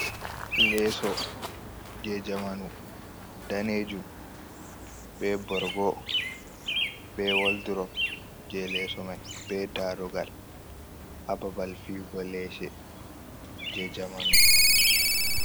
Leeso je jamanu danejum be borgo, be woldrop je leeso mai. be darogal ha babal fiyugo leese je jamanu.